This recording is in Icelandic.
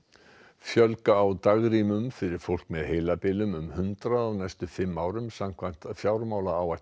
fjölga á dagrýmum fyrir fólk með heilabilun um hundrað á næstu fimm árum samkvæmt fjármálaáætlun